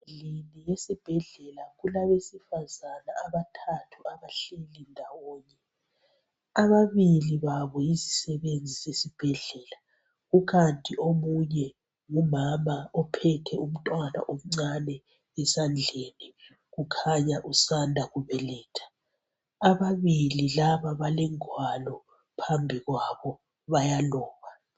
Endlini yesibhedlela kulabesifazane abathathu abahleli ndawonye, ababili babo yizisebenzi zesibhedlela, kukanti omunye ngumama ophethe umntwana omncane esandleni kukhanya usanda kubeletha. Ababili laba balengwalo phambi kwabo bayaloba.